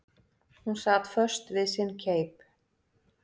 Hún sat föst við sinn keip.